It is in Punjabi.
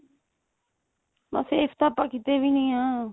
ਮਹਾਂ safe ਤਾਂ ਆਪਾਂ ਕੀਤੇ ਵੀ ਨੀ ਆਂ